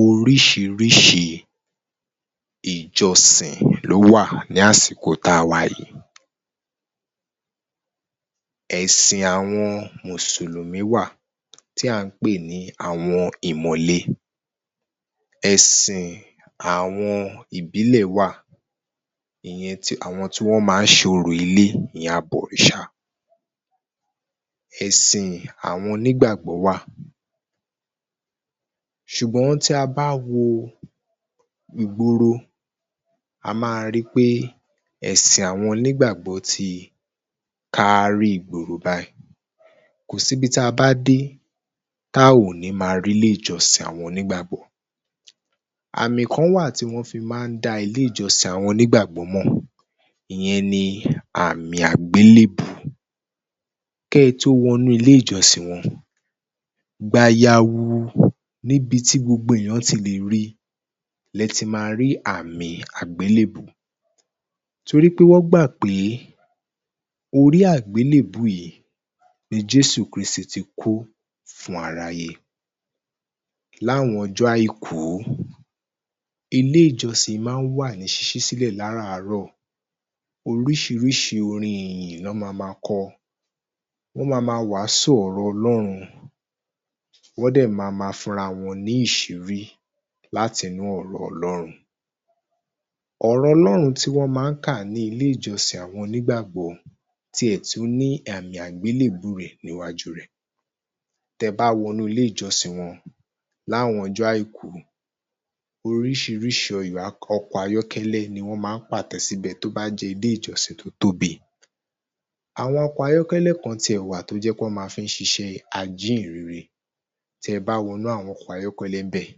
Oríṣiríṣi ìjọsìn ló wà ní àsìkò tí a wà yìí. Ẹ̀sìn àwọn Mùsùlùmí, wà tí a ń pé ní àwọn ìmọ̀le. Ẹ̀sìn àwọn ìbílẹ̀ wà, ìyẹn àwọn tí wọn máa ṣe òrò-ilé, ìyẹn àwọn àbọ̀rìṣà. Ẹ̀sìn àwọn onígbàgbọ́ wà. Ṣùgbọ́n tí a bá wo ìgboro, a máa rí pé ẹ̀sìn àwọn onígbàgbọ́ tí kárí ìgboro báyìí. Kò sí ibi tí a bá dé tí a ò ní máa rí ilé-ìjọsìn àwọn onígbàgbọ́. Àmì kan wà tí wọn fí máa dá àwọn ilé-ìjọsìn àwọn onígbàgbọ́ mọ̀, ìyẹn ní àmì àgbélébùú. Kí ẹ tó wọnú ilé-ìjọsìn wọn, gbayarun níbi tí gbogbo èèyàn ti lè rí ní ẹ tí máa rí àmì àgbélébùú. Torí pé wọn gbà pé orí àgbélébùú yìí ni Jésù Krístì tí kú fún aráyé. Ní àwọn ọjọ́ àìkú, ilé-ìjọsìn máa wà ní ṣíṣí sílẹ̀ láràárọ̀, oríṣiríṣi orin ìyìn lọ́ máa ma kọ, wọn máa ma wàásù ọ̀rọ̀ Ọlọ́run, wọn jẹ́ máa ma fún ara wọn ní ìṣírí láti inú ọ̀rọ̀ Ọlọ́run. Ọ̀rọ̀ Ọlọ́run tí wọn máa kà ni ilé-ìjọsìn àwọn onígbàgbọ́ tí ẹ̀ tún ní àmì àgbélébùú rẹ̀ níwájú rẹ̀. Tí ẹ bá wọnú ilé-ijọsìn wọn ní àwọn ọjọ́ àìkú, oríṣịríṣi àwọn ọkọ̀ ayọ́kẹ́lẹ́ ní wọn máa pàtẹ síbẹ̀ tí ó bá jẹ́ ilé-ìjọsìn tí o tóbi. Àwọn ọkọ̀ ayọ́kẹ́lẹ́ kan tí ẹ wà, tó jẹ́ pé wọn máa fi ṣiṣẹ́ ajíhìnrere. Tí ẹ bá wọnú àwọn ọkọ̀ ayọ́kẹ́lẹ́ bẹ́ẹ̀,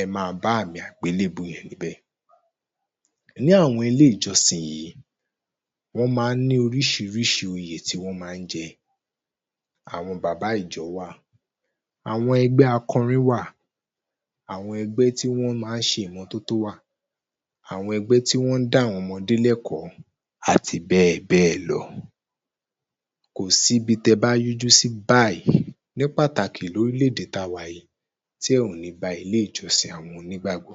ẹ máa bá àmì agbélébùú yẹn níbẹ̀. Ní àwọn ilé-ìjọsìn yìí, wọn máa ní oríṣiríṣi oyè tí wọn máa ń jẹ. Àwọn Bàbá Ìjọ wà, àwọn ẹgbẹ́ akọrin wà, àwọn ẹgbẹ́ tí wọn máa ṣe ìmọ̀tótó wà, àwọn ẹgbé tí wọn ń dá àwọn ọmọdé lẹ́kọ̀ọ́ àti bẹ́ẹ̀ bẹ́ẹ̀ lọ. Kò sí ibi tí ẹ bá yí ojú sí báyìí, ní pàtàkì lórílé-èdè tí a wà yìí tí ẹ ò ní bá àwọn ilé-ìjọsìn àwọn onígbàgbọ́.